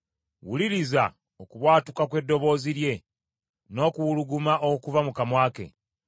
Wuliriza okubwatuka kw’eddoboozi lye, n’okuwuluguma okuva mu kamwa ke.